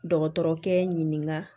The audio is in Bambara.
Dɔgɔtɔrɔkɛ ɲininka